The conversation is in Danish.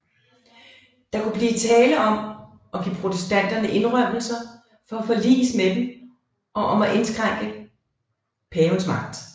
Der kunne blive tale om at give protestanterne indrømmelser for at forliges med dem og om at indskrænke pavens magt